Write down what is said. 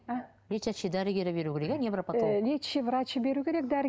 лечащий дәрігері беруі керек иә невропотолог лечащий врачы беру керек